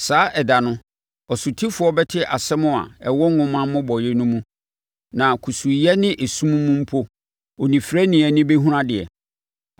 Saa ɛda no, ɔsotifoɔ bɛte nsɛm a ɛwɔ nwoma mmobɔeɛ no mu na kusuuyɛ ne esum mu mpo onifirani ani bɛhunu adeɛ.